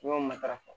N'i y'o matarafa